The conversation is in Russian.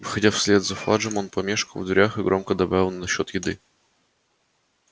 выходя вслед за фаджем он помешкал в дверях и громко добавил и насчёт еды